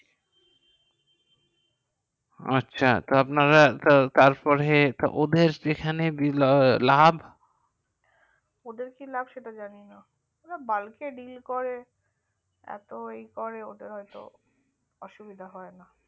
আচ্ছা তো আপনারা তারপরে ওদের কি lave ওদের কি lave সেটা জানি না ওরা বাড়িতে dell করে এত ই করে ওদের হয়তো অসুবিধা হয় না